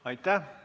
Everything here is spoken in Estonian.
Aitäh!